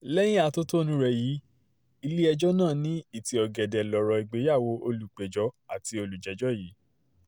lẹ́yìn atótónu rẹ̀ yìí ilé-ẹjọ́ náà ní ìtì ọ̀gẹ̀dẹ̀ lọ̀rọ̀ ìgbéyàwó olùpẹ̀jọ́ àti olùjẹ́jọ́ yìí